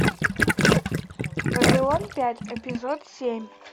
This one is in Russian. вавилон пять эпизод семь